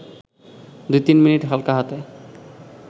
২-৩ minute হালকা হাতে